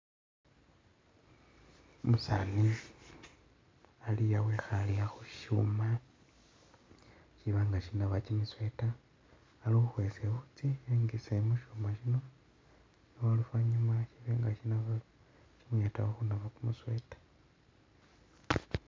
Umusaani ali aa' wekhaale aa' khushuma shiba nga shinaba kimisweater ali khukhwesa i'wuutsi e'ngise mushuma shino noluvanyuma shibe nga shinaba, shimuyetakho khunaba kumusweater